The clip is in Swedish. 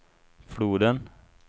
floden